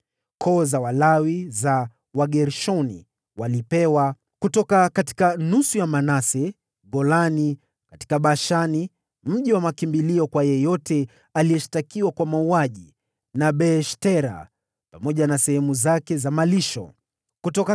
Koo za Walawi za Wagershoni walipewa: kutoka nusu ya kabila la Manase, Golani katika Bashani (mji mkuu wa makimbilio kwa yeyote aliyeshtakiwa kwa mauaji) na Beeshtera, pamoja na sehemu zake za malisho, ilikuwa miji miwili;